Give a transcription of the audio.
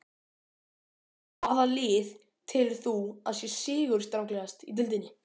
Hvaða lið telur þú að sé sigurstranglegast í deildinni?